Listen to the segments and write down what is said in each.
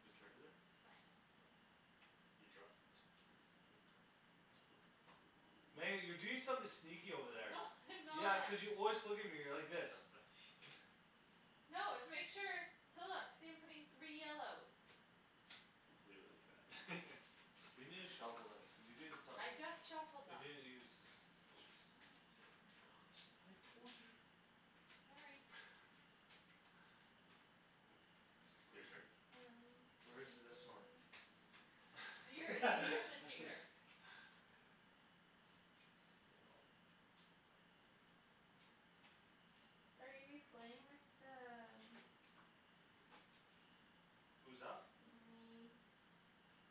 Who's turn is it? Mine. Oh. You dropped. Your card. Meg, you're doing something sneaky over there. No I'm Yeah, not. cuz you always look at me like this. That's what I need. No, it's to make sure. To look. See I'm putting three yellows. Leave it like that We need to shuffle it. Cuz you doing I somethin' just shuffled You're them. doin', you're suspicious. I'm not doing anything suspicious. I told you. Sorry. Your Where's turn. th- Um, Where is yes. this one? You're see, you're the cheater. Are you we playing with the um who's up? Me.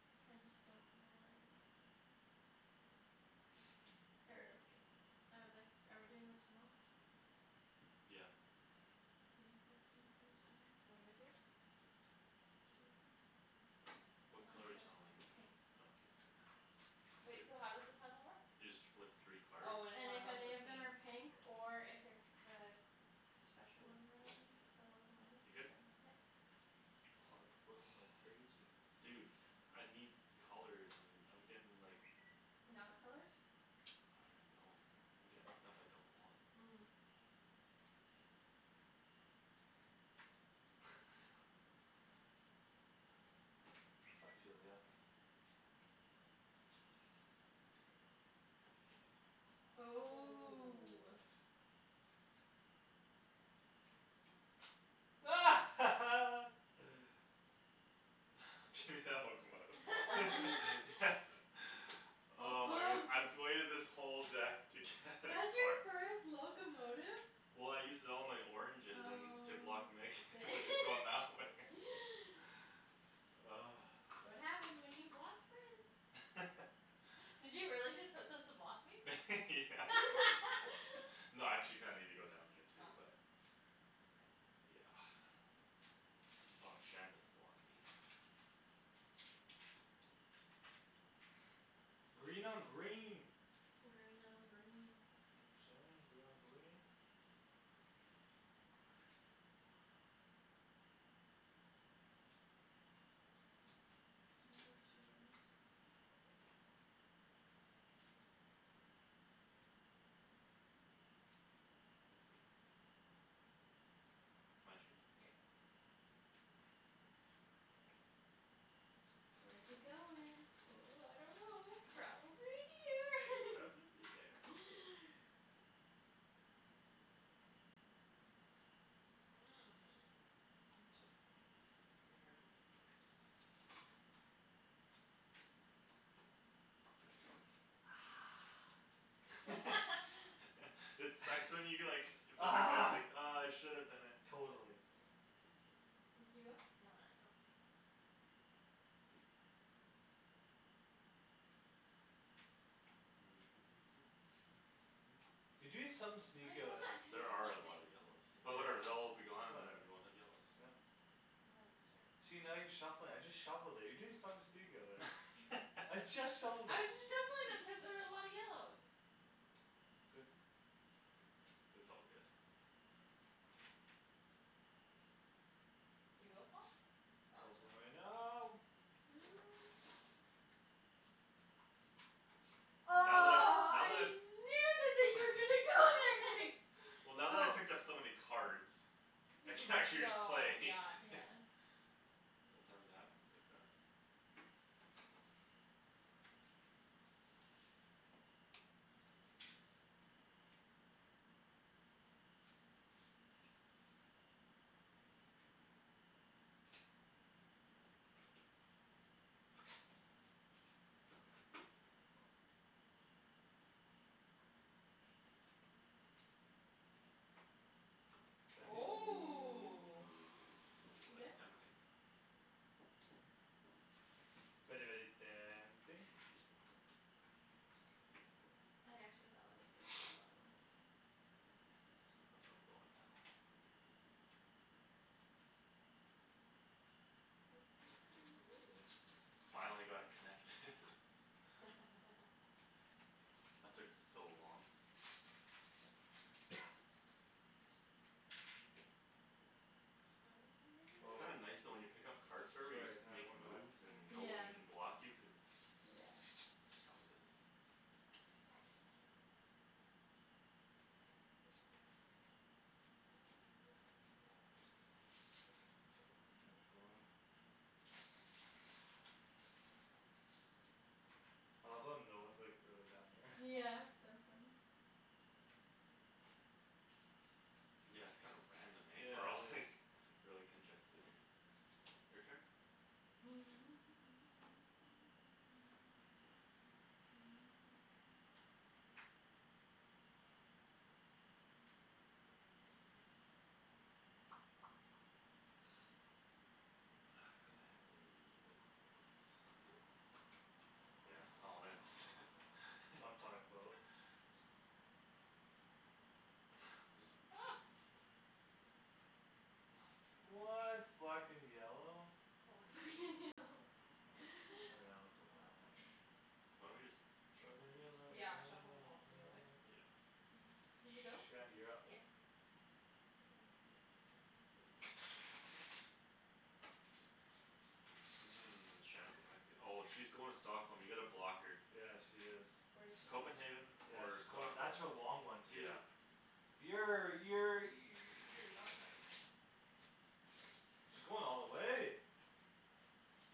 I just don't know what I wanna do. Er, ok, I would like- Are we doing the tunnel? Yeah. Okay. Can you put some for the tunnel then What do I please? do? Just take them. Oh, What Oh. I'm color are you tunneling in? good. Pink. Okay, you're good. Wait, so how does the tunnel work? You just flip three cards. Oh, and if And one of if 'em's a any of them pink are pink or if it's the Special one or The whatever locomotive. The locomotive You're good? then, yep. Paul you're flipping like Oh. crazy. Dude I need colors and I'm getting like Not colors I don't even know. I'm getting stuff I don't want. Mm. Ah, you ridiculous. Ooh. Ooh. Do that locomotive. Yes. Paul's Oh my goodness, pumped. I've waited this whole deck to get a That's your card first locomotive? Well, I used it all in my oranges and to block Megan. Oh to going that way dang That's what happens when you block friends. Did you really just put those to block me? Yeah. No, I actually kinda needed to go down there Oh, too but okay. Yeah. As long as Shan doesn't block me. Green on green. Green on green. You know what I'm sayin', green on green. Mhm. My turn? Yep. Where's he going? Ooh, ooh, I don't know. Probably here. Probably there. Hmm, Hmm, interesting. interesting. Very interesting. It sucks when you get like Ah. Ah, I should have done it. Yeah. Totally. Did you go? No, not yet. Okay. You doing something sneaky over I'm not there. doing There are a something lot of yellows. sneaky. But, yeah, But whatever. They'll all be gone, and whatever, then we won't have yellows. yeah. Yeah, that's true. See, now you're shuffling it. I just shuffled it. You're doing something sneaky over there. I I'm just just shuffled it. shuffling them cuz there was a lot of yellows. Good. It's all good. Did you go Paul? Oh. Good Paul's going right now. now. Ooh. Oh, Now that I've, now that I I've knew that that you were gonna go there next. Well, now that I Oh. picked up so many cards I You can can just actually go, play yeah Yeah. Sometimes it happens like that. Shandy. Ooh, Ooh. Ooh, you good? that's tempting. Very, very tempting. I actually thought that was were you were going last time. That's where I'm going now. Hoo hoo Ooh. hoo Finally got it connected. That took Um. so long. How many did It's you Oh. kinda give me nice though when you pick up cards forever you just Sorry, can have makes one back? moves and Yeah. Yeah, no yeah. one can block you cuz that's how it is. End at four. I love how no one's like really down here. Yeah, it's so funny. Yeah, it's kinda random, eh, we're Yeah, all it is. like Really congested here. Your turn? Ah, freak. Ah, could I have a locomotive please? Mhm. Yes, Thomas That's what I'm talkin' about. There's a Oh. What black and yellow? Orange It's I know not it's a orange. funny. Why don't we just Black shuffle and these? yellow Yeah, shuffle 'em all together. Yeah. Did you go? Shandy, you're up. Yeah. Can I please have this? Shand's connected. Oh, she's going to Stockholm. You gotta block her. Yeah, she is. Where's she going? Copenhagen. Yeah, Or she's going. Stockholm, That's her long one too yeah. Yeah, yeah, you you're not nice. She's going all the way.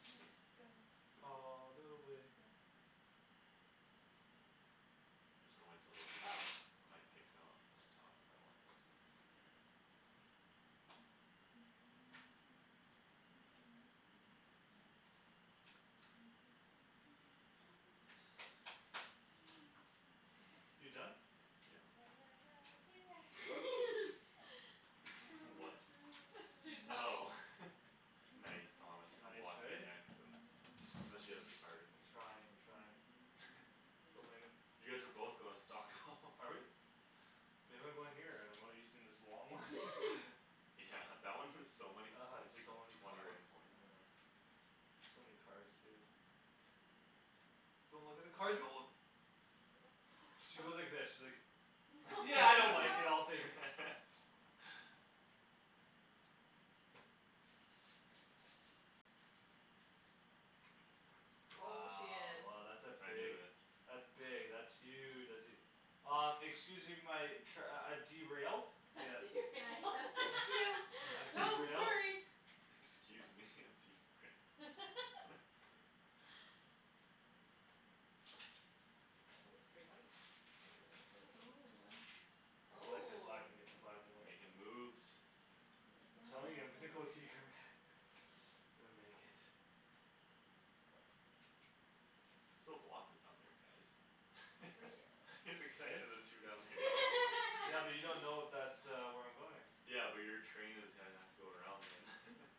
Can go all All the the way. way I'm just gonna wait till those are done. Oh. I might pick up from the top. I don't like those ones up there. You done? You'll Yeah. never know dear How What? much That's what I she was love humming. Oh you. Nice. Thomas, I'm Nice, blocking you eh? next. I'm I'm not sure she has the cards. I'm trying, I'm trying. Go, Megan. You guys are both going to Stockholm. Are we? Maybe I'm going here and I'm using this long one Yeah That one is so many I had points, like, so many twenty one cards, I points. know. So many cards too. Don't look at the cards. I wasn't looking at the cards. She went like this. She's like No. Yeah, I don't like it, I'll No. take it. Oh, she Wow, is oh, that's a I knew big it. That's big, that's huge, that's e- Uh, excuse me my trai- I've derailed. Yes. I'm gonna fix you, I've don't derailed. worry. Excuse me, I'm derailed. Oh, three whites, oh, oh, Ooh, oh. ah. I like it black Oh. an- Make black and white but makin' moves I'm telling you I'm gonna go here, man. I'm gonna make it. You could still block him down there guys. Three Is it yellows Eh? connected the two down there? Yeah, but you don't know if that uh where I'm going Yeah, but your train is gonna have to go around them.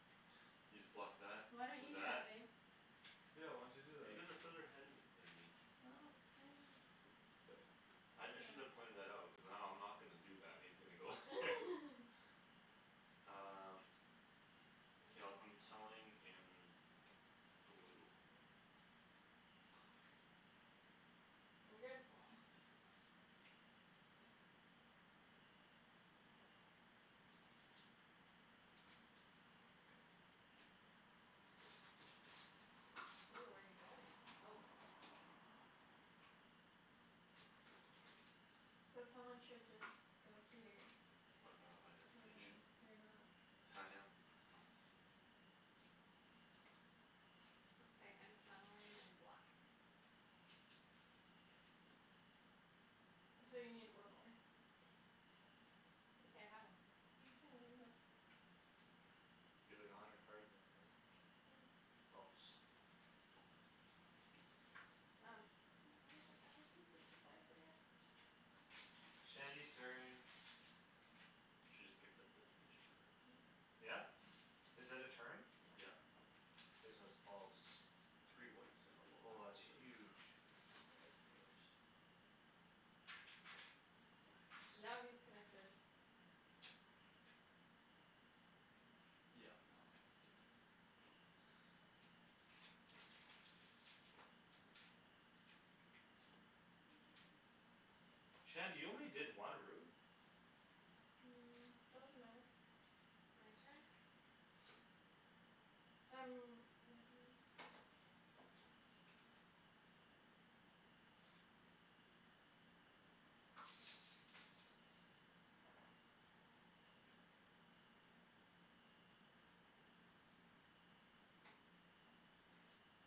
You just block that Why don't you with do that. that babe? Yeah why don't you do Cuz you that? guys are further ahead of me than me Well, then Good. I I shouldn't have It's too long. pointed that out. Cuz now I'm not gonna do that, and he's gonna go Um. Whose K, I'll turn I'm is it? tunneling in. Blue. I'm good. Oh, thank goodness. Ooh, where you going? Oh. So someone should just go here. What if I'm at my So then destination? you're not I No, I am am. not. Okay, I'm tunneling in black. So you need one more. it's okay. I have one. You have like a hundred cards in your hand. I know. Helps. Um, wait. Let me put down my pieces before I forget. Shandy's turn. She just picked up destination cards. Yep. Yeah? Is that a turn? Yeah. Yeah. Okay, so it's Paul's. Three whites and a Oh, that's locomotive. huge. That is huge. Nice. Now he is connected. Yeah now I'm connected. Shandy you only did one route? Um, doesn't matter. My turn? Um, yeah, maybe.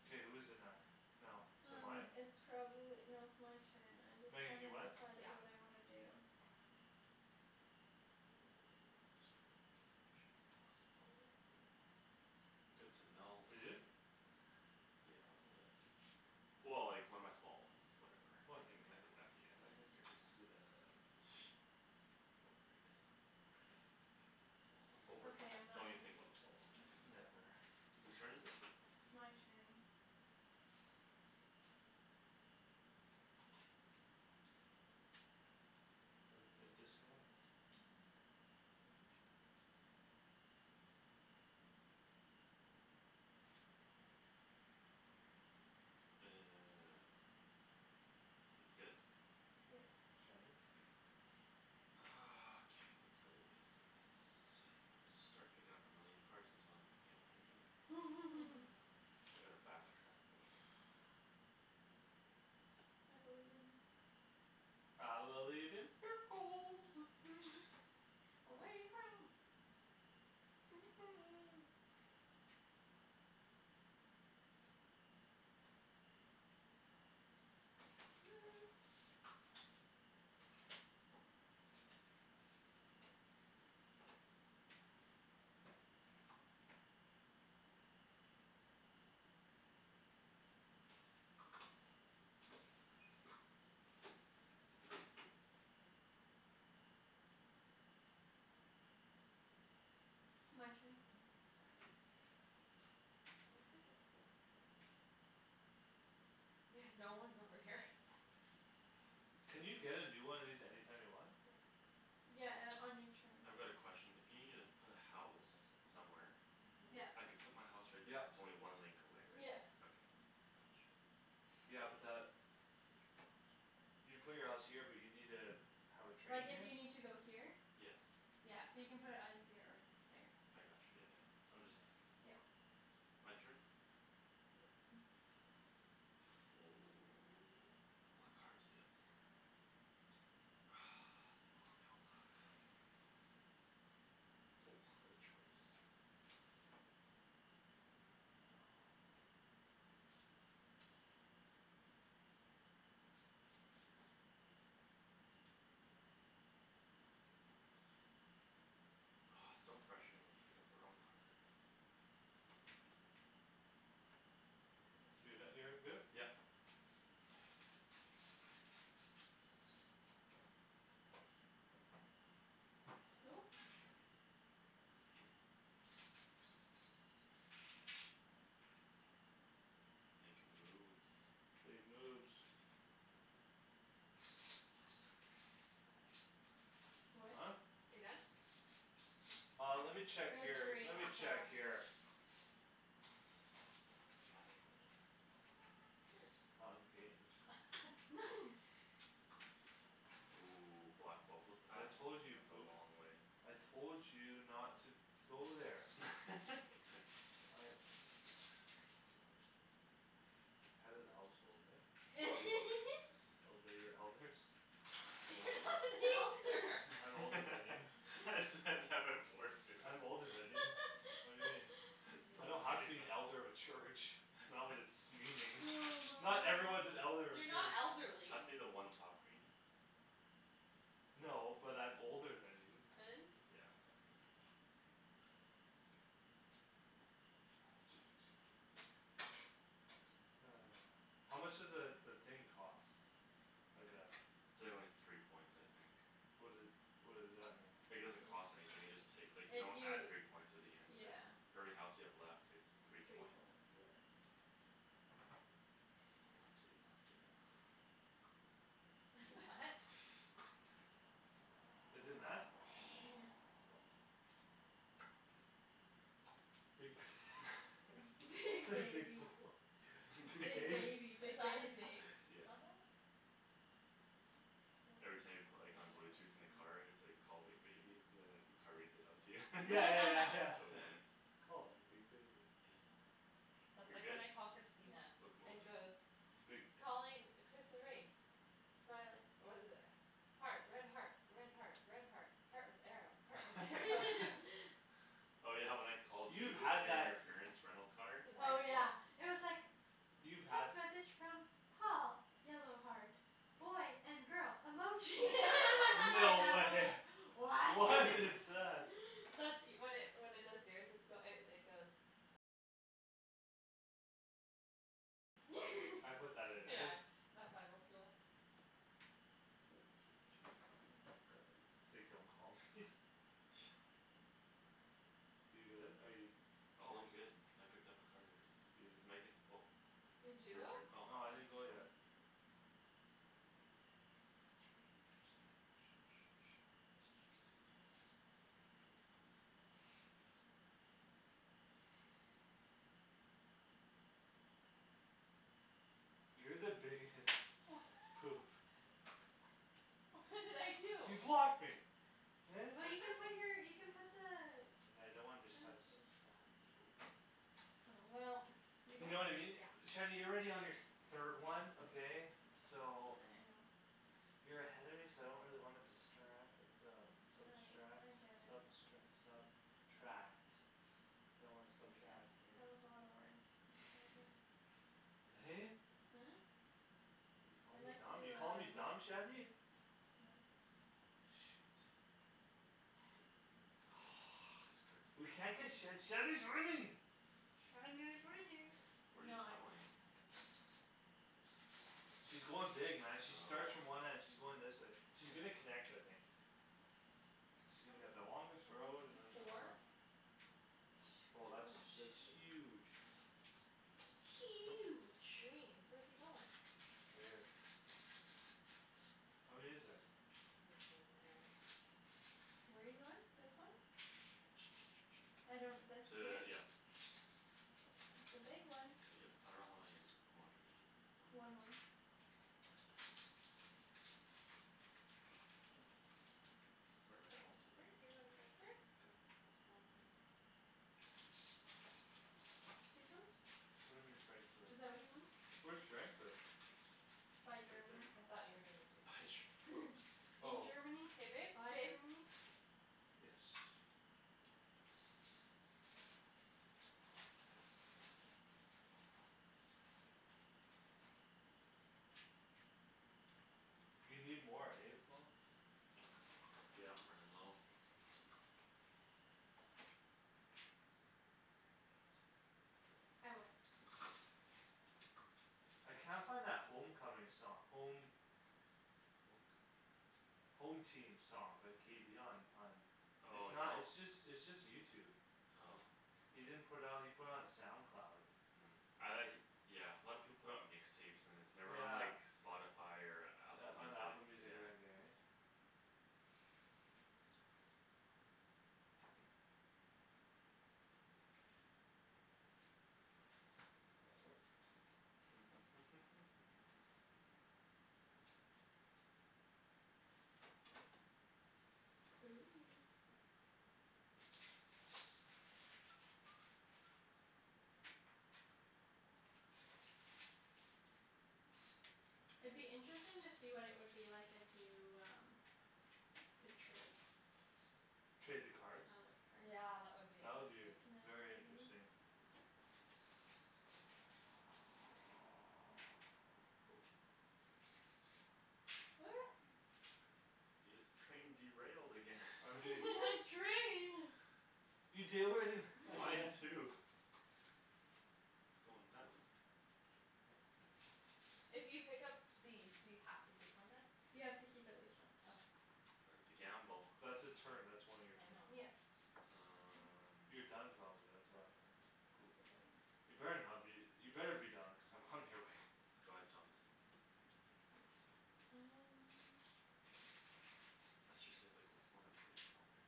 K, who's it next now? Is it Um, mine? it's probably, no, it's my turn. I just Megan haven't you went? decided what Yeah. I wanna do. Oh, I screwed up my destination, awesome. Oh. Good to know. You do? Yeah, a little bit. Well, like, one of my small ones. Whatever, I can Whatever. connected it back again. I Who can cares? do that at the end. Overrated. Small one. Over. Okay, I'm not Don't even gonna think keep about small this ones. one. Never. Who's turn is it? It's my turn. And a disconnect. No, I'm okay. I don't wanna go through that one. You good? Yep. Shandy. Ah, okay, lets go with this. Should start picking up a million cards until I'm get what I needed. I need to back track a little bit. I believe in you. I believe in miracles. Away from My turn. Mhm, sorry. Well, that's a good spot for them. Yeah, no one's over here. Can you get a new one of these anytime you want? Yeah. Yeah, uh, on your turn. I've got a question. If you needa put a house somewhere Mhm. Yeah. I can put my house right there Yep. if its only one link away, right? Yeah. Okay, got you. Yeah, but that You put your house here but you need a Have a train Like if here? you need to go here Yes. Yeah, so you can put it either here or here. Yeah I got you, yeah, yeah. I'm just asking. Yep. My turn? Yep. What cards we have there? Ah, they bo- they all suck. Ho, what a choice! No. Oh, it's so frustrating when you pick up the wrong card. Whose Do turn that. You're is good? it? Yep. Who Snap. Makin' moves. Big moves. Huh? What? Are you done? Uh, let me check It was your, three, let I me check saw. your He You doesn't trust can me. pass to me Not in Hurts. games. Ooh, block both those I paths. told you you'd That's a poop. long way. I told you not to to go there I Head of the household, eh Obey your elders. I'm You're older. not an elder. I'm older than you. I said that before too. I'm older than you. What do you mean? I don't have to be an elder of a church. It's not what it's meaning. Oh my Not everyone's gosh. an elder of a You're not church. elderly. Pass me the one top green. No, but I'm older than you. And? Yeah, a green. Thanks. One, two, two, seven. Ah. How much does a the thing cost? Like a It's a only three points I think. What doe- what does that mean? Like it doesn't cost anything, you just take. Like you It don't you add three points at the end of it. yeah For every house you have left it's three Three points. points, yeah. What point did he not get? Is it met? Yeah. Big Big Big big baby, boy. Big big Big bab- baby, big Is that his baby. name? Yeah. On that? Every time you pla- like on blue tooth in the car, it's like call big baby, and then the car reads it out to you. Yeah, yeah, yeah, It's so yeah funny. Calling big baby Yeah. That's You're like good? when I call Christina, it Locomotive goes Big Calling Chris erase Smile it, what is it? Heart, red heart, red heart, red heart Heart with arrow, heart with arrow Oh, yeah, when I called You've you and had you and that your parents rental car Since Oh, high school yeah, it was like You've had Text message from Paul yellow heart boy and girl emoji my dad No. was like What? What is that? That's e- when it when it does yours it's goe- it goes I put that in there Yeah, at Bible school. So cute, um, guy. Say don't call me You good, are you? It's Oh, yours. I'm good. I picked up a card already. It's Megan. Oh. Did It's you your go? turn? Oh. No, It's I Thomas' didn't go turn. yet. You're the biggest Wha- poop. What did I You do? blocked me. Eh? Well, you can put your you put the And I don't want Train this sub- station subtract three Oh, well, you You know know what I mean? Yeah. Shady you're already on your th- third one, okay. I know. So You're ahead of me so I don't really wanna distra- uh but um I subtract I get it. substre- sub tract I don't Yeah, wanna that was subtract, right. a lotta words. In front of you Hey. Hmm? You're calling I'd me like dumb, you're to calling me do, dumb, um Shandy? No. Shoot. Good. Yes. This card. We can't get Shand- Shandy's winning Shandy is winning. Where No, you I don't win. tunneling? She's going dig, man, she starts from Oh. one end, she's going this way. She's gonna connect, I think. She's How gonna get the longest many road You and have then. ah four? Oh, Shoot, that's that's oh, huge. shoot. Huge. Greens. Where's he goin'? Right here. How many is there? Oh, he's going there. Where you goin'? This one? I don't this here? T- yeah. It's the big one. Yep. I don't know how many more I need. One more? One more. Where my houses Frankfurt? at? You going to Oh, Frankfurt. can I get a house baby? Oh, there. Okay. These ones? What do you mean, Frankfurt? Is that what you mean? Where's Frankfurt? By Right Germany. there. I thought you were doing the two By pink. Ger- In Oh. Germany, K, babe, by babe. Germany. Yes. You need more, hey, Paul. Yeah, running low. K, Shands. I win. I can't find that home coming song, home Home coming. Home team song by K B on on It's Oh, not no? it's just it's just YouTube Oh. He didn't put out he put it on SoundCloud. Mm, I Yeah, a lot of people put it on mix tapes and then it's never on Yeah. like Spotify or Yeah, Apple on Music, Apple yeah. Music or anything, right? Ooh. It'd be interesting to see what it would be like if you, um Could trade Trade the Color cards? Yeah, that cards. would be That would be v- interesting. Can I very give you interesting. these? Your scrain derailed again. I'm You doing. had train. You derai- Mine again. too. It's goin' nuts. If you pick up these do you have to take one then? You have to keep at least one. Okay. That's a gamble. That's a turn, that's one of your I turn. know. Yep. You're Um. done probably, that's why. Possibly. You better not be you better be done cuz I'm coming your way. Go ahead, Thomas. And Let's just save like one of every color.